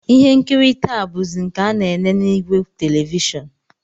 Ihe nkiri taa bụzi nke a na-ele n'ìgwè televishọn